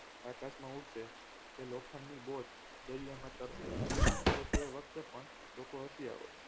આકાશમાં ઉડશે કે લોખંડની boat દરિયામાં તરસે તો તે વખતે પણ લોકો હસી અવોત